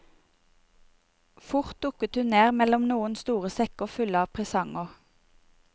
Fort dukket hun ned mellom noen store sekker fulle av presanger.